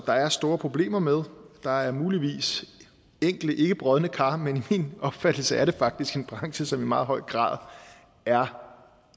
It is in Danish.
der er store problemer med der er muligvis enkelte ikkebrodne kar men i min opfattelse er det faktisk en branche som i meget høj grad er